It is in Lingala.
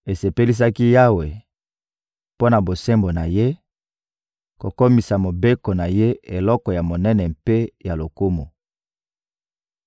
Esepelisaki Yawe, mpo na bosembo na Ye, kokomisa Mobeko na Ye eloko ya monene mpe ya lokumu.